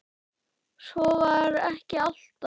Svo var ekki alltaf.